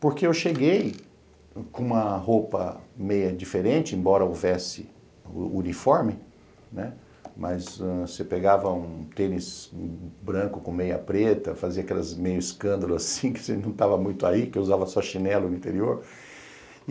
Porque eu cheguei com uma roupa meio diferente, embora houvesse o uniforme, né, mas você pegava um tênis branco com meia preta, fazia aquelas meio escândalos assim, que você não estava muito aí, que usava só chinelo no interior.